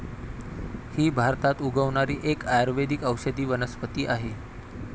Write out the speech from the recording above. ही भारतात उगवणारी एक आयुर्वेदिक औषधी वनस्पती आहे.